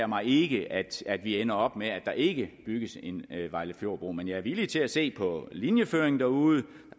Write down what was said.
mig ikke at vi ender op med at der ikke bygges en vejlefjordbro men jeg er villig til at se på linjeføringen derude